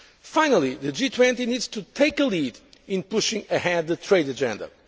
Finally, the G20 needs to take a lead in pushing ahead the trade agenda.